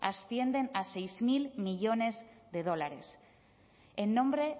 ascienden a seis mil millónes de dólares en nombre